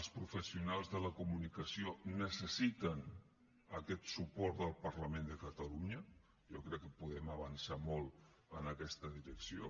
els professionals de la comunicació necessiten aquest suport del parlament de catalunya jo crec que podem avançar molt en aquesta direcció